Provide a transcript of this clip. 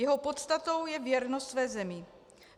Jeho podstatou je věrnost své zemi.